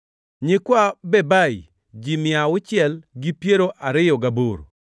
nyikwa Bebai, ji mia auchiel gi piero ariyo gaboro (628)